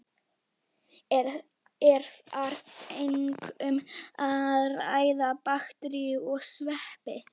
Er þar einkum um að ræða bakteríur og sveppi.